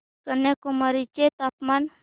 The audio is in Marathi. कन्याकुमारी चे तापमान